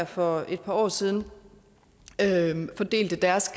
for et par år siden fordelte deres